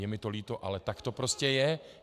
Je mi to líto, ale tak to prostě je.